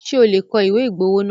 Ṣé o lè kọ ìwé ìgbowó náà?